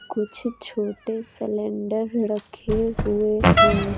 कुछ छोटे सिलेंडर रखे हुए है।